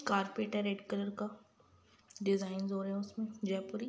Carpet है red colour का। Design हो रहे हैं उसमे जयपुरी।